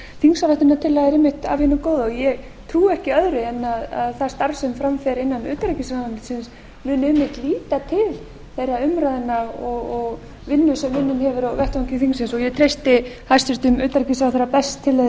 þingsályktunartillaga er einmitt af hinu góða ég trúi ekki öðru en að það starf sem fram fer innan utanríkisráðuneytisins muni einmitt líta til þeirra umræðna og vinnu sem unnin hefur verið á vettvangi þingsins ég treysti hæstvirtum utanríkisráðherra best til að líta til þess enda